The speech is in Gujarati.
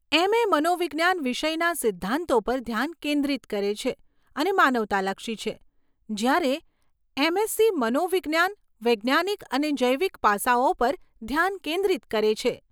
એમ. એ. મનોવિજ્ઞાન વિષયના સિદ્ધાંતો પર ધ્યાન કેન્દ્રિત કરે છે અને માનવતાલક્ષી છે, જ્યારે એમ. એસસી. મનોવિજ્ઞાન વૈજ્ઞાનિક અને જૈવિક પાસાઓ પર ધ્યાન કેન્દ્રિત કરે છે.